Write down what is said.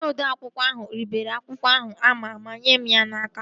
Onye odeakwụkwọ ahụ ribere akwụkwọ ahụ ama ma nyee mụ ya n'aka